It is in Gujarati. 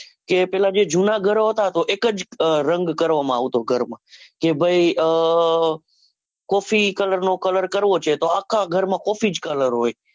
કે પેલા જે જુના ઘરો હતા, તો એક જ રંગ કરવામાં આવતો ઘરમાં કે ભાઈ આહ coffee colour નો colour કરવો છે તો આખા ઘર માં coffee જ colour હોય.